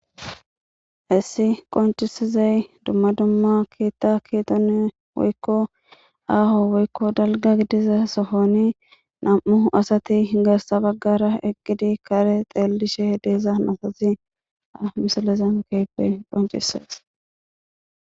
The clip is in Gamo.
Hayissi qoncisizay dumma dumma keetta keetone woykko aaho woykko dalga gidiza sohoni nam'u asati garsa baggara eqqidi kare xeellishe deeza nafasi amisalezen keepe qoncisees